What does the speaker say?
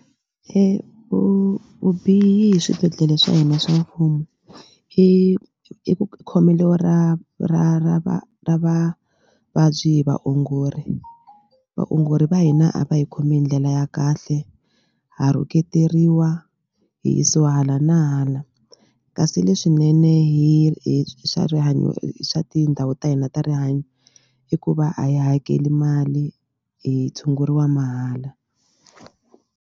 vubihi swibedhlele swa hina swa mfumo i i i ku khomelo ra ra ra va ra vavabyi hi vaongori vaongori va hina a va hi khomi hi ndlela ya kahle ha rhuketeriwa hi yisiwa hala na hala kasi leswinene hi hi swa rihanyo hi swa tindhawu ta hina ta rihanyo i ku va a hi hakeli mali hi tshunguriwa mahala.